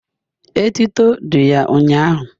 etuto dị ya ụnyahụ